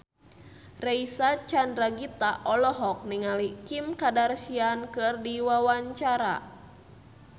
Reysa Chandragitta olohok ningali Kim Kardashian keur diwawancara